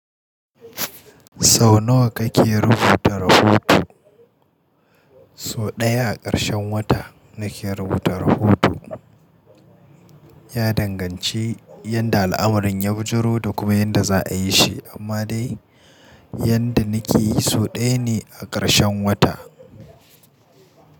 Sau nawa kake rubuta rahoto? So ɗaya a ƙarshen wata nake rubuta rahoto. Ya danganci yadda al'amarin ya bijiro da kuma yadda za a yi shi. Amma dai yadda na ke yi, so ɗaya ne a ƙarshen wata.